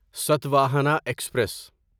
Satavahana express